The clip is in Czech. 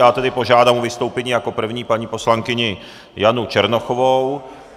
Já tedy požádám o vystoupení jako první paní poslankyni Janu Černochovou.